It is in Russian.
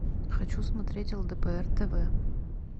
хочу смотреть лдпр тв